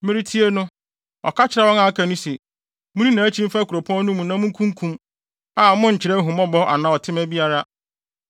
Meretie no, ɔka kyerɛɛ wɔn a aka no se, “Munni nʼakyi mfa kuropɔn no mu na munkunkum, a monnkyerɛ ahummɔbɔ anaa ɔtema biara.